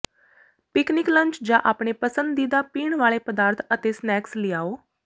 picnic lunch ਜਾਂ ਆਪਣੇ ਪਸੰਦੀਦਾ ਪੀਣ ਵਾਲੇ ਪਦਾਰਥ ਅਤੇ ਸਨੈਕਸ ਲਿਆਓ